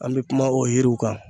An bɛ kuma o yiriw kan.